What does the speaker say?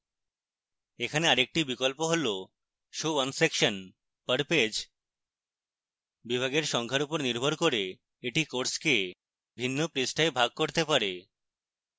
এখানে আরেকটি বিকল্প হল show one section per page